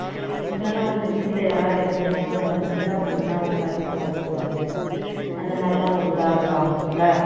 முன்னெல்லாம் வந்து வீட்டுல யாரு எங்க போனாலும் வந்துதான் ஒண்ணா உட்கார்ந்து சாப்பிடுவாங்க அந்த மாதிரி எல்லாம் ஒரு இதா இருப்பாங்க இல்ல